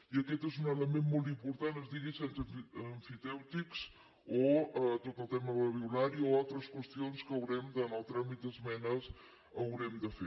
i aquest és un element molt important es digui cens emfitèutics o tot el tema del violari o altres qüestions que haurem de en el tràmit d’esmenes fer